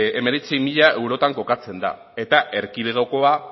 hemeretzi mila eurotan kokatzen da eta erkidegokoa